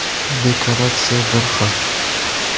Dekoratsiya bir xil.